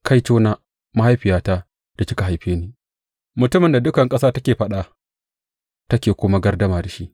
Kaitona, mahaifiyata, da kika haife ni, mutumin da dukan ƙasa take faɗa take kuma gardama da shi!